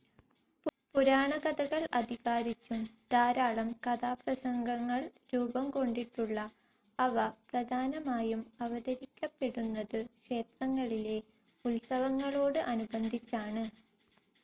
പുരാണകഥകൾ അധികാരിച്ചും ധാരാളം കഥാപ്രസംഗങ്ങൾ രൂപം കൊണ്ടിട്ടുണ്ടു അവ പ്രധാനമായും അവതരിപ്പിക്കപ്പെടുന്നതു ക്ഷേത്രങ്ങളിലെ ഉത്സവങ്ങളോടു അനുബന്ധിച്ചാണു.